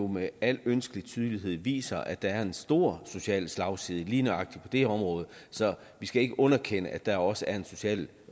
med al ønskelig tydelighed viser at der er en stor social slagside på lige nøjagtig det område så vi skal ikke underkende at der også er en social